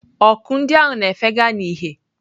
Ọkụ ndị ahụ na-efega n'ìhè.